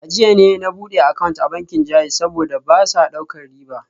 A jiya ne na bude account a bankin JAIZ, saboda ba sa daukar riba